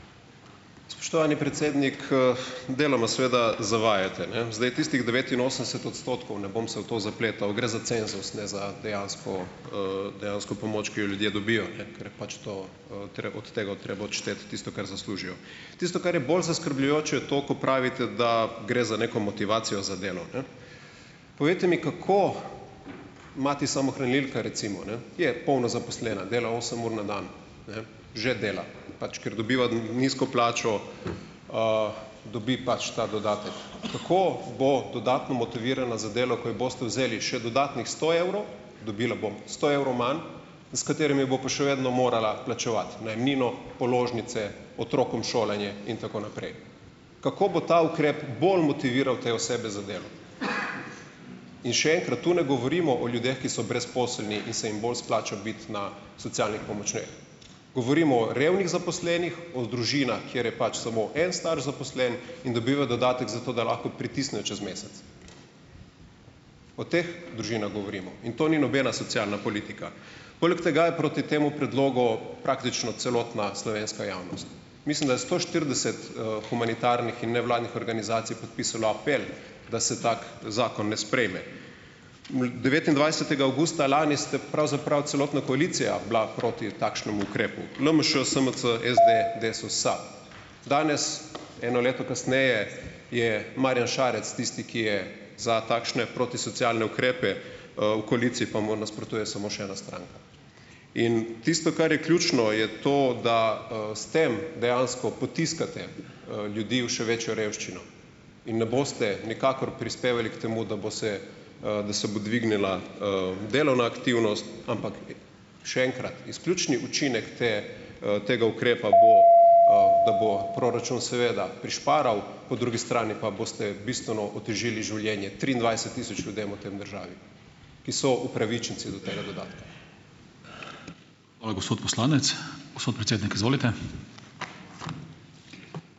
Spoštovani predsednik, Deloma seveda zavajate, ne. Zdaj tistih devetinosemdeset odstotkov, ne bom se v to zapletal, gre za cenzus, ne za dejansko, dejansko pomoč, ki jo ljudje dobijo, ne, ker je pač to, treba od tega treba odšteti tisto, kar zaslužijo. Tisto, kar je bolj zaskrbljujoče, je to, ko pravite, da gre za neko motivacijo za delo, ne. Povejte mi, kako mati samohranilka recimo, ne, je polno zaposlena, dela osem ur na dan, ne, že dela, pač ker dobiva nizko plačo, dobi pač ta dodatek. Kako bo dodatno motivirana za delo, ko ji boste vzeli še dodatnih sto evrov, dobila bo sto evrov manj, s katerimi bo pa še vedno morala plačevati najemnino, položnice, otrokom šolanje in tako naprej. Kako bo ta ukrep bolj motiviral te osebe za delo? In še enkrat, tu ne govorimo o ljudeh, ki so brezposelni , ki se jim bolj splača biti na socialnih pomočeh . Govorimo o revnih zaposlenih, o družinah, ker je pač samo en starš zaposlen in dobiva dodatek zato, da lahko pritisne čez mesec. O teh družinah govorimo. In to ni nobena socialna politika. Poleg tega je proti temu predlogu praktično celotna slovenska javnost. Mislim, da je sto štirideset, humanitarnih in nevladnih organizacij podpisalo apel, da se tak zakon ne sprejme. devetindvajsetega avgusta lani ste pravzaprav celotna koalicija bila proti takšnemu ukrepu . LMŠ, SMC, SD , Desus, SAB. Danes, eno leto kasneje, je Marjan Šarec tisti, ki je za takšne protisocialne ukrepe, v koaliciji pa mu nasprotuje samo še ena stranka. In tisto, kar je ključno, je to, da, s tem dejansko potiskate, ljudi v še večjo revščino. Im ne boste nikakor prispevali k temu, da bo se, da se bo dvignila, delovna aktivnost, ampak, še enkrat, izključni učinek te, tega ukrepa bo, da bo proračun seveda prišparal, po drugi strani pa boste bistveno otežili življenje triindvajset tisoč ljudem v tej državi, ki so upravičenci do tega dodatka. Hvala, gospod poslanec. Gospod predsednik, izvolite.